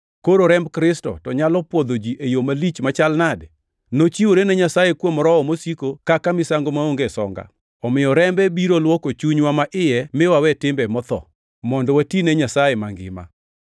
koro remb Kristo to nyalo pwodho ji e yo malich machal nade! Nochiwore ne Nyasaye kuom Roho mosiko kaka misango maonge songa, omiyo rembe biro luoko chunywa maiye mi wawe timbe motho, mondo wati ne Nyasaye mangima!